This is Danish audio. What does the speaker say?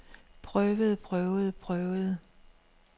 prøvede prøvede prøvede